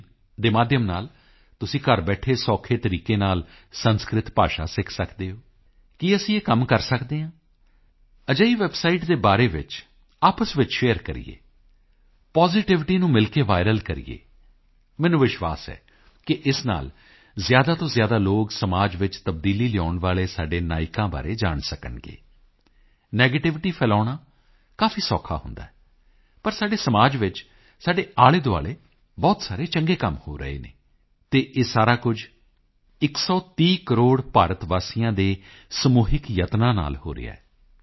in ਦੇ ਮਾਧਿਅਮ ਨਾਲ ਤੁਸੀਂ ਘਰ ਬੈਠੇ ਸੌਖੇ ਤਰੀਕੇ ਨਾਲ ਸੰਸਕ੍ਰਿਤ ਭਾਸ਼ਾ ਸਿੱਖ ਸਕਦੇ ਹੋ ਕੀ ਅਸੀਂ ਇਹ ਕੰਮ ਕਰ ਸਕਦੇ ਹਾਂ ਅਜਿਹੀ ਵੈੱਬਸਾਈਟ ਦੇ ਬਾਰੇ ਚ ਆਪਸ ਵਿੱਚ ਸ਼ੇਅਰ ਕਰੀਏ ਪਾਜ਼ਿਟਿਵਿਟੀ ਨੂੰ ਮਿਲ ਕੇ ਵਾਇਰਲ ਕਰੀਏ ਮੈਨੂੰ ਵਿਸ਼ਵਾਸ ਹੈ ਕਿ ਇਸ ਨਾਲ ਜ਼ਿਆਦਾ ਤੋਂ ਜ਼ਿਆਦਾ ਲੋਕ ਸਮਾਜ ਵਿੱਚ ਤਬਦੀਲੀ ਲਿਆਉਣ ਵਾਲੇ ਸਾਡੇ ਨਾਇਕਾਂ ਬਾਰੇ ਜਾਣ ਸਕਣਗੇ ਨੈਗੇਟਿਵਿਟੀ ਫੈਲਾਉਣਾ ਕਾਫੀ ਸੌਖਾ ਹੁੰਦਾ ਹੈ ਪਰ ਸਾਡੇ ਸਮਾਜ ਵਿੱਚ ਸਾਡੇ ਆਲ਼ੇਦੁਆਲ਼ੇ ਬਹੁਤ ਸਾਰੇ ਚੰਗੇ ਕੰਮ ਹੋ ਰਹੇ ਹਨ ਅਤੇ ਇਹ ਸਾਰਾ ਕੁਝ 130 ਕਰੋੜ ਭਾਰਤ ਵਾਸੀਆਂ ਦੇ ਸਮੂਹਿਕ ਯਤਨਾਂ ਨਾਲ ਹੋ ਰਿਹਾ ਹੈ